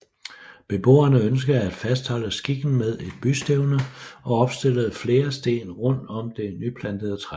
Beboerne ønskede at fastholde skikken med et bystævne og opstillede flere sten rundt om det nyplantede træ